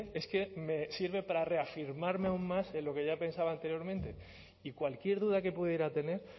es que me sirve para reafirmarme aún más en lo que ya pensaba anteriormente y cualquier duda que pudiera tener